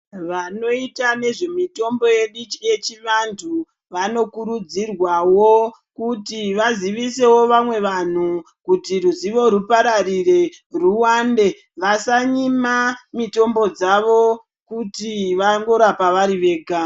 Vanoita nezve mitombo yedu yechi vantu vano kurudzirwawo kuti vazivisevo vamwe vantu kuti ruzivo rupararire rwuwande vasa nyima mitombo dzavo kuti vango rapa vari vega.